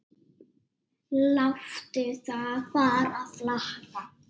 Láttu það bara flakka!